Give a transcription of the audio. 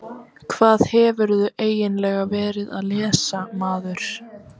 Hvað hefurðu eiginlega verið að lesa maður?